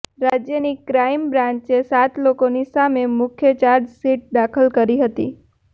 રાજ્યની ક્રાઈમ બ્રાંચે સાત લોકોની સામે મુખ્ય ચાર્જશીટ દાખલ કરી હતી